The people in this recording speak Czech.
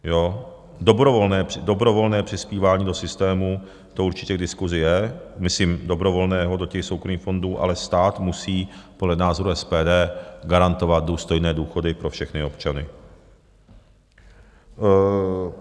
Dobrovolné přispívání do systému, to určitě k diskusi je, myslím dobrovolného do těch soukromých fondů, ale stát musí podle názoru SPD garantovat důstojné důchody pro všechny občany.